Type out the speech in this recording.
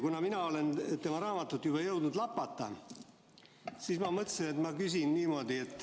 Kuna mina olen tema raamatut juba jõudnud lapata, siis ma mõtlesin, et küsin.